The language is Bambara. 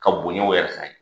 Ka bonyɛw yɛrɛ san ye